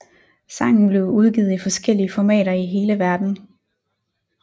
Sangen blev udgivet i forskellige formater i hele verden